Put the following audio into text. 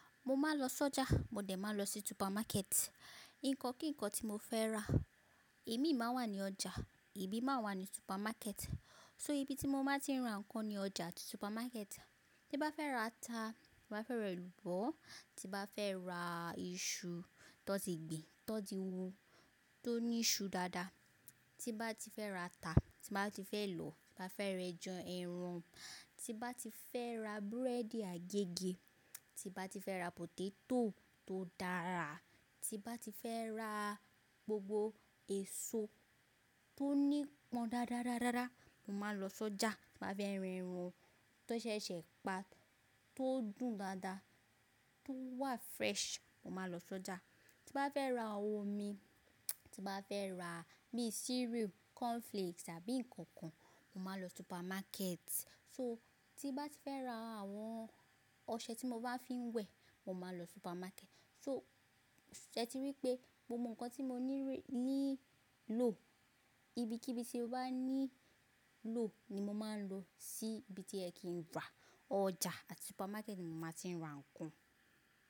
Mo máa ń lọ sọ́jà, mo dẹ̀ máa n lọ sí supermarket. Nǹkan kí nǹkan tí mo fẹ́ rà imin máa n wà ní ọjà, ibi máa wà ní supermarket. So ibi tí mo máa ti ń rà nǹkan ni ọjà àti supermarket. Tí n bá fẹ́ rà ata, ti n bá fẹ́ rẹ elubo, tí n bá fẹ́ rà iṣu tó tin gbìn, tó tin wú, tó ní ṣu dáadáa, tí bá ti fẹ́ rà ata, tí bá ti fẹ́ lọ, tí bá fẹ́ rẹ ẹja, ẹran, tí bá ti fẹ́ rà búrẹ́dì agégẹ, tí bá ti fẹ́ rà pọtétọ̀ tó dára, tí bá ti fẹ́ rà gbogbo èso tó ní pọ́n dádadáda, mo máa lọ sọ́jà. Tí bá fẹ́ rẹ ẹran tó sẹsẹ pa, tó dùn dáadáa, tó wà fresh, mo máa n lọ sọ́jà. Tí bá fẹ́ rà omi, tí bá fẹ́ rà bíi cereal, cornflakes àbí nǹkan kan, mo máa lọ supermarket. So tí bá ti fẹ́ rà àwọn ọṣẹ tí mo maá fi ń wẹ̀, mo máa n lọ supermarket. So sẹ́ ti rí pé gbogbo nǹkan tí mo ní rí-- nílò, ibi kí bí tí mo bá nílò ni mo máa ń lọ sí ibi tí ẹ kì ń rà. Ọjà àti supermarket ni mo máa ti ń rà nǹkan.